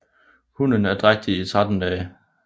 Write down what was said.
Hunnen er drægtig i 13 dage